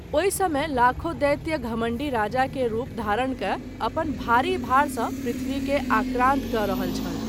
ओहि समय लाखों दैत्य घमंडी राजा के रूप धारण कय अपन भारी भार सँ पृथ्वी के आक्रान्त कय रहल छल।